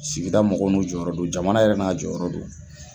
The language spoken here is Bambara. Sigida mɔgɔw n'u jɔyɔrɔ do jamana yɛrɛ n'a jɔyɔrɔ do.